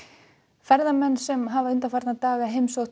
ferðamenn sem hafa undanfarna daga heimsótt